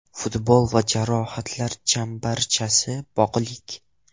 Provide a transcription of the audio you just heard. Futbol va jarohatlar chambarchas bog‘liq.